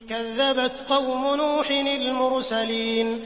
كَذَّبَتْ قَوْمُ نُوحٍ الْمُرْسَلِينَ